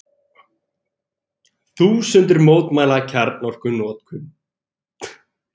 Þúsundir mótmæla kjarnorkunotkun